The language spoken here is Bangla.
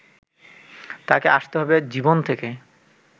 তাকে আসতে হবে জীবন থেকে